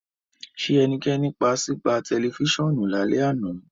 Ṣe ẹnikẹni paa si pa tẹlifisiọnu lalẹ ana?